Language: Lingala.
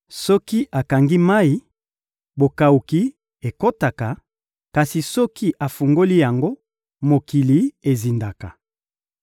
Soki akangi mayi, bokawuki ekotaka; kasi soki afungoli yango, mokili ezindaka.